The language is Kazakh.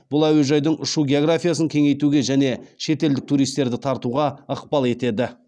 бұл әуежайдың ұшу географиясын кеңейтуге және шетелдік туристерді тартуға ықпал етеді